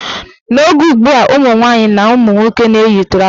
N' oge ugbua, ụmụnwaanyị na ụmụnwoke na-eyi trọza.